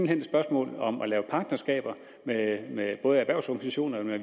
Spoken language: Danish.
hen et spørgsmål om at lave partnerskaber med med både erhvervsorganisationer og